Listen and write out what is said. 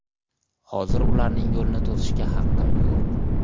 Hozir ularning yo‘lini to‘sishga haqqim yo‘q.